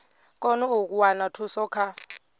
kone u wana thuso kha